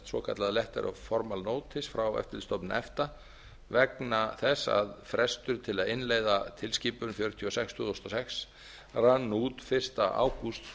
svokallaðar letteralformal notice frá eftirlitsstofnun efta vegna þess að frestur til að innleiða tilskipun fjörutíu og sex tvö þúsund og sex rann út fyrsta ágúst tvö